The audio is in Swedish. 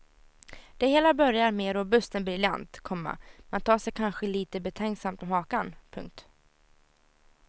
Det hela börjar mer robust än briljant, komma man tar sig kanske lite betänksamt om hakan. punkt